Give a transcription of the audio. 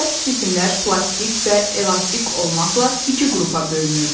Bərk cisimlər plastik və elastik olmaqla iki qrupa bölünür.